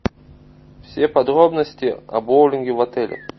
все подробности о боулинге в отеле